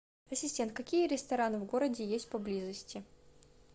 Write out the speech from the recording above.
ассистент какие рестораны в городе есть поблизости